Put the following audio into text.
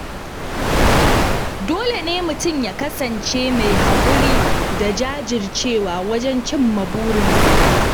Dole ne mutum ya kasance mai haƙuri da jajircewa wajen cimma burinsa.